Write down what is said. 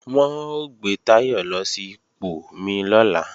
Wọn ó gbé Táyọ̀ lọ sí ipò mí lọ́la